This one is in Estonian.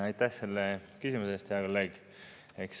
Aitäh selle küsimuse eest, hea kolleeg!